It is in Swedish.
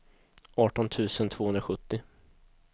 arton tusen tvåhundrasjuttio